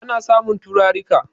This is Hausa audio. ana samun turarika